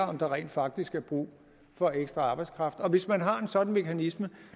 om der rent faktisk er brug for ekstra arbejdskraft hvis man har en sådan mekanisme